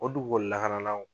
O dugukolo lakanalaw